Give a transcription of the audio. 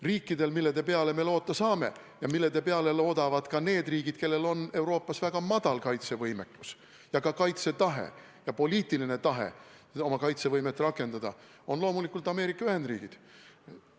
Riik, mille peale me loota saame – ja mille peale loodavad ka need riigid, kellel on Euroopas väga madal kaitsevõimekus, ka kaitsetahe ja poliitiline tahe oma kaitsevõimet rakendada –, on loomulikult Ameerika Ühendriigid.